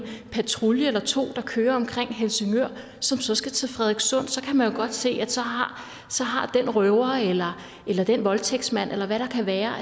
patrulje eller to der kører omkring helsingør som så skal til frederikssund så kan man jo godt se at så har den røver eller den voldtægtsmand eller hvad det kan være